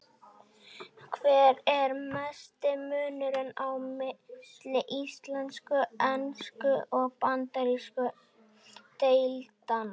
Hver er mesti munurinn á milli íslensku-, sænsku- og bandarísku deildanna?